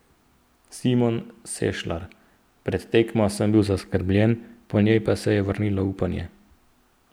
Simon Sešlar: 'Pred tekmo sem bil zaskrbljen, po njej se je vrnilo upanje.